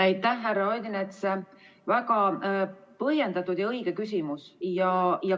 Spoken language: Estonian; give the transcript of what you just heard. Aitäh, härra Odinets, väga põhjendatud ja õige küsimuse eest!